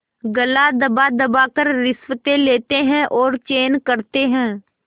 गला दबादबा कर रिश्वतें लेते हैं और चैन करते हैं